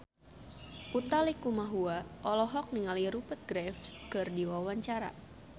Utha Likumahua olohok ningali Rupert Graves keur diwawancara